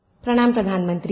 प्रणाम प्रधानमंत्री जी